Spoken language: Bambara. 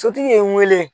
Sotigi ye n wele